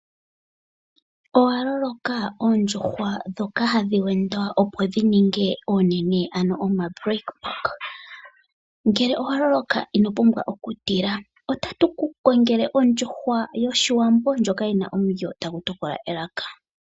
Owaloloka oondjuhwa dhoka hadhi wendwa opo dhi ninge onene ano , ngele owaloloka ino pumbwa okutila otatu ku kongele oondjuhwa yoshiwambo ndjoka yina omulyo tagu tokola elaka.